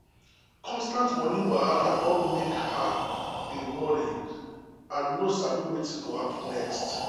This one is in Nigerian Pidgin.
constant money wahala don make her dey worry and no sabi wetin go happen next.